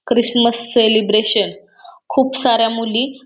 Christmas celebration खूप साऱ्या मुली--